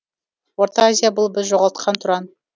орта азия бұл біз жоғалтқан тұран